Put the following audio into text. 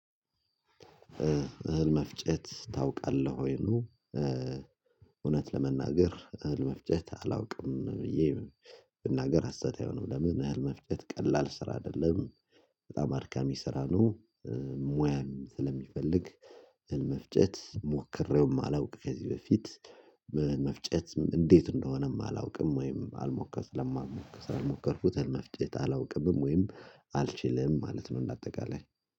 እህል መፍጨት ታውቃለህ ወይ ነው? እውነት ለመናገር እህል መፍጨት አላውቅም ብዬ ብናገር ሀሰት አይሆንም ነው። ለምን እህል መፍጨት ቀላል ስራ አይደለም በጣም አድካሚ ስራ ነው። ሙያም ስለሚፈልግ እህል መፍጨት ሞክሬውም አላውቅም ከዚህ በፊት። መፍጨት እንዴት እንደሆነም አላውቅም ወይም አልሞከ ለማልሞከ ስላልሞከርኩትም እህል መፍጨት አላውቅም ወይም አልችልም ማለት ነው። እንደ አጠቃላይ